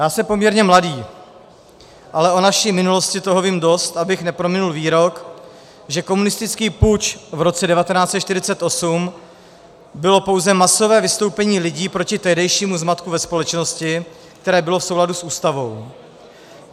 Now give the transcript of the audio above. Já jsem poměrně mladý, ale o naší minulosti toho vím dost, abych neprominul výrok, že komunistický puč v roce 1948 bylo pouze masové vystoupení lidí proti tehdejšímu zmatku ve společnosti, které bylo v souladu s Ústavou.